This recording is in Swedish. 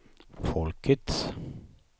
folkets